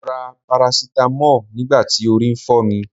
Mo ra parasitamọ́ọ̀ nígbà tí orí ń fọ́ mi.